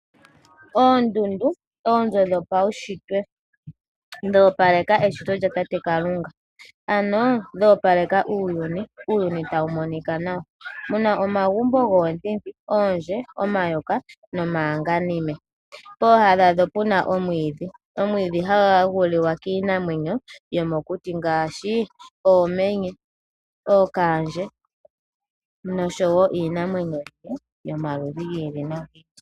Oondundu, oonzo dhopaushitwe dho opaleka eshito lyatate Kalunga, ano dho opaleke uuyuni. Uuyuni tawu monika nawa muna omagumbo goonyenti, oondje, omayoka nomayanganime pooha dhadho puna omwiidhi. Omwiidhi hagu liwa kiinamwenyo yomokuti ngaashi, oomenye, noshowo iinamwenyo yilwe yomaludhi gi ili nogi ili.